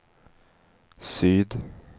syd